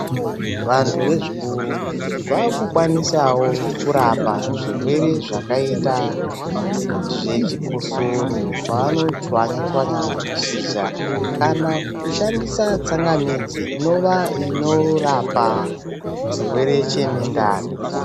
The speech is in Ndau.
Vantu vezvikuru vakukwanisavo kurapa zvirwere zvakaita zvechikosoro pavanotswanya-tswanya mashizha kana kushandisa tsangamidzi inova inorapa chirwere chemundani.